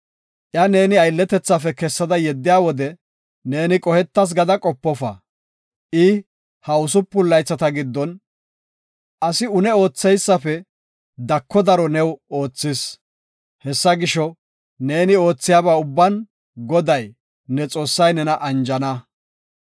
Iya neeni aylletethaafe kessada yeddiya wode neeni qohetas gada qopofa. I ha usupun laythata giddon asi une ootheysafe dako daro new oothis. Hessa gisho, neeni oothiyaba ubban Goday, ne Xoossay nena anjana.